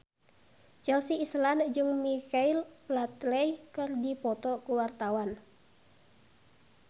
Chelsea Islan jeung Michael Flatley keur dipoto ku wartawan